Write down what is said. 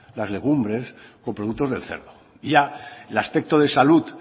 las legumbres con productos del cerdo ya el aspecto de salud